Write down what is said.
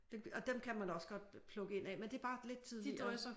Og dem kan man også godt plukke ind af men det er bare lidt tidligere